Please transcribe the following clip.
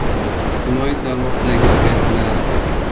Ijtimoiy tarmoqdagi trendlar.